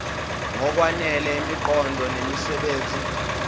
ngokwanele imiqondo nemisebenzi